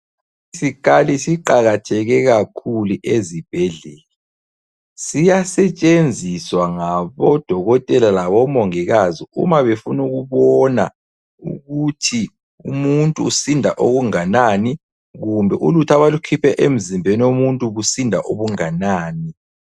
Isikhali siqakatheke kakhulu ezibhedlela. Siyasetshenziswa ngabodokotela labomongikazi umabefuna ukubona ukuthi umuntu usinda okunganani kumbe ulutho abalukhiphe emzimbeni womuntu lusinda okunganani.